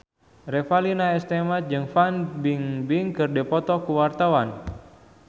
Revalina S. Temat jeung Fan Bingbing keur dipoto ku wartawan